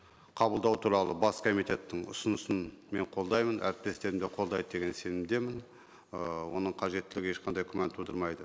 қабылдау туралы бас комитеттің ұсынысын мен қолдаймын әріптестерім де қолдайды деген сенімдемін ыыы оның қажеттілігі ешқандай күмән тудырмайды